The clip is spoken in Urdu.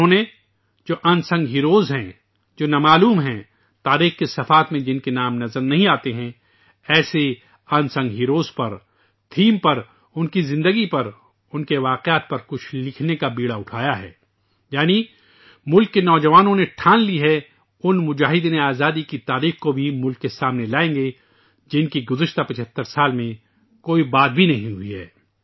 انہوں نے، جو غیر معروف ہیرو ہیں، جو گمنام ہیں تاریخ کے صفحات میں جن کے نام نظر نہیں آتے، ایسے غیر معروف جانباز وں پر ، موضوع پر ان کی زندگی پر ، ان کے واقعات پر کچھ لکھنے کا بیڑا اٹھایا ہے ، یعنی ملک کے نوجوانوں نے تہیہ کر لیا ہے، مجاہدین آزادی کی تاریخ کو بھی ملک کے سامنے لائیں گے ، جن کا گزشتہ 75 سالوں میں کوئی ذکر تک نہیں ہواہے